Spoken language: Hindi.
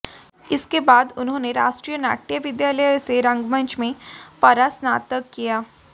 इसके बाद उन्होने राष्ट्रीय नाट्य विद्यालय से रंगमंच में परास्नातक किया